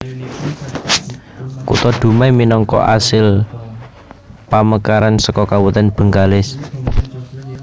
Kutha Dumai minangka asil pamekaran saka Kabupatèn Bengkalis